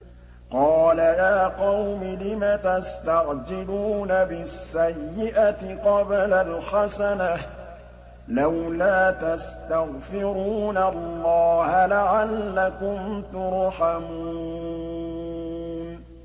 قَالَ يَا قَوْمِ لِمَ تَسْتَعْجِلُونَ بِالسَّيِّئَةِ قَبْلَ الْحَسَنَةِ ۖ لَوْلَا تَسْتَغْفِرُونَ اللَّهَ لَعَلَّكُمْ تُرْحَمُونَ